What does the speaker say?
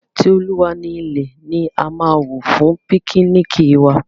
Ti Olúwa ni ilẹ̀ ni a máa wò fún píknìkì wa.